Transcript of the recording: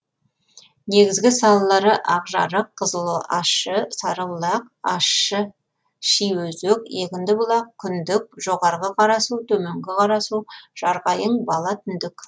негізгі салалары ақжарық қызылащы сарыбұлақ ащышиөзек егіндібұлақ күндік жоғарғы қарасу төменгі қарасу жарқайың бала түндік